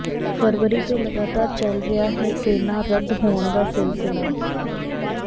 ਫਰਵਰੀ ਤੋਂ ਲਗਾਤਾਰ ਚੱਲ ਰਿਹਾ ਹੈ ਟਰੇਨਾਂ ਰੱਦ ਹੋਣ ਦਾ ਸਿਲਸਲਾ